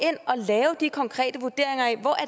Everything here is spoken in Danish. og lave de konkrete vurderinger af hvor